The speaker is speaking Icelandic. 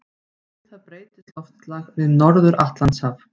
Við það breytist loftslag við Norður-Atlantshaf.